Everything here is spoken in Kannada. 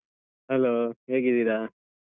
Hello ಹೇಗಿದ್ದೀರಾ?